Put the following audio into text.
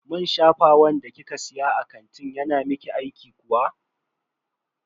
Man shafawan da kika siya a kantin yana miki aiki kuwa?